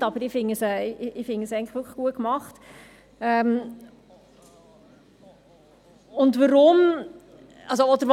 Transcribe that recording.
Die Bildung ist die wichtigste Ressource, gerade im Kanton Bern mit seinen nicht ganz einfachen Strukturen.